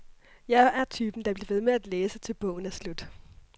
Jeg er typen, der bliver ved med at læse til bogen er slut.